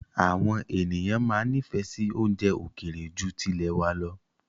Àwọn ènìyàn máa ń nifẹ si oúnjẹ ókéré ju tilẹ̀ wá lọ